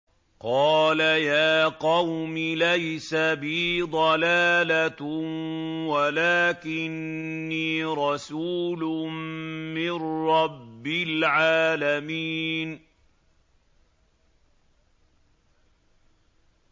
قَالَ يَا قَوْمِ لَيْسَ بِي ضَلَالَةٌ وَلَٰكِنِّي رَسُولٌ مِّن رَّبِّ الْعَالَمِينَ